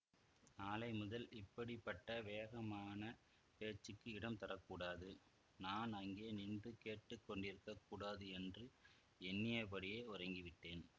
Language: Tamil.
நாளை முதல் இப்படி பட்ட வேகமான பேச்சுக்கு இடம் தர கூடாது நான் அங்கே நின்று கேட்டு கொண்டிருக்க கூடாது என்று எண்ணியபடியே உறங்கிவிட்டேன்